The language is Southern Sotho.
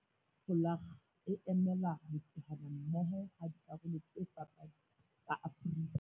'V' e ka hara folakga e emela ho teana mmoho ha dikarolo tse fapaneng tsa Afrika